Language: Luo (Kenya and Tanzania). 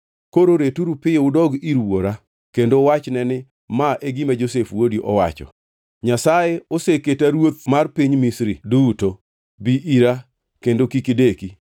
Koro returu piyo udog ir wuora kendo uwachne ni, ‘Ma e gima Josef wuodi owacho: Nyasaye oseketa ruoth mar piny Misri duto. Bi ira; kendo kik ideki.